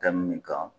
Tɛ min kan